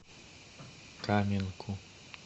каменку